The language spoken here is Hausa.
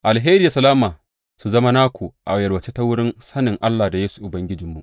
Alheri da salama su zama naku a yalwace ta wurin sanin Allah da Yesu Ubangijinmu.